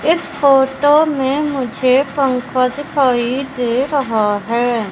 इस फोटो में मुझे पंखा दिखाई दे रहा है।